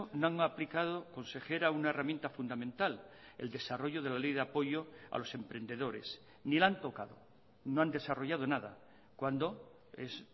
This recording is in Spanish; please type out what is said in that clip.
no han aplicado consejera una herramienta fundamental el desarrollo de la ley de apoyo a los emprendedores ni la han tocado no han desarrollado nada cuando es